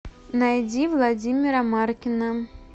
найди владимира маркина